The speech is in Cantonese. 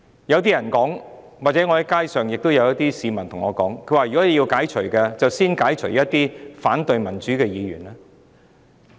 有市民曾向我表達，若要解除議員職務，應該先解除那些反對民主的議員的職務。